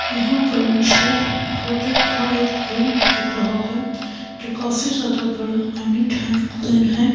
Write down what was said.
यहां पर मुझे होटल का एक रूम दिख रहा है जो काफी ज्यादा बड़ा एंड नीट एंड क्लीन है।